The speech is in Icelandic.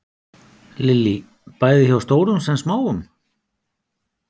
Lillý: Bæði hjá stórum sem smáum?